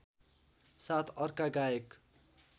साथ अर्का गायक